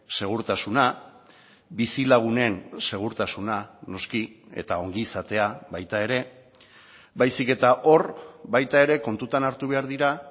segurtasuna bizilagunen segurtasuna noski eta ongizatea baita ere baizik eta hor baita ere kontutan hartu behar dira